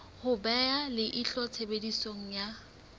ho beha leihlo tshebediso ya